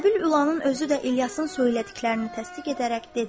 Əbül Ülanın özü də İlyasın söylədiklərini təsdiq edərək dedi.